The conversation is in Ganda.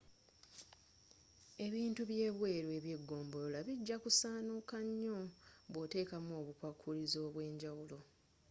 ebintu byebweru ebyegombolola bijja kusaanuka nnyo bwoteekamu obukwakulizo obwenjawulo